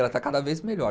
Ela está cada vez melhor.